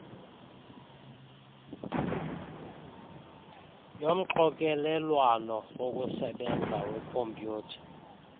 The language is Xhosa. yomxokelelwano wokusebenza wekhompyutha